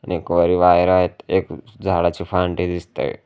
आणि वर एक वायर आहेत एक झाडाची फांदी दिसतंय.